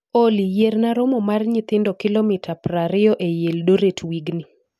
Olly, yierna romo mar nyithindo kilomita prariyo eiy eldoret wigni